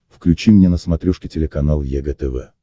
включи мне на смотрешке телеканал егэ тв